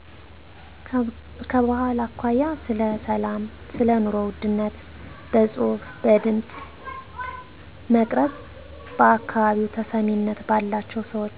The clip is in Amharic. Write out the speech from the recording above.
ከባህል አኮያ ስለ ሰላም ሰለኑሮ ውድነት በጽሁፍ በድምጽ መቅረጽ በአካባቢው ተሰሚነት ባላቸው ሰወች